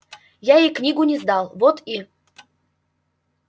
я ей книгу не сдал вот и